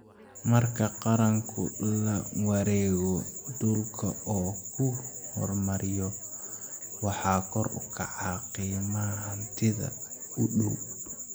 Marka Qaranku la wareego dhulka oo uu horumariyo, waxaa kor u kaca qiimaha hantida u dhow.